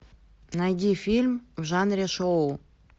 найди фильм в жанре шоу